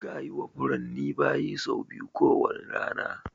Kayi wa furanni bayi sau biyu ko wane rana